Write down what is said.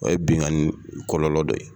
O ye binkani kɔlɔlɔ dɔ ye.